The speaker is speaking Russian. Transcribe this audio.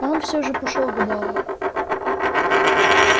но он всё же пошёл к бару